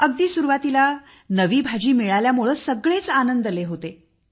अगदी सुरुवातीला नवी भाजी मिळाल्यामुळे सगळेच आनंदले होते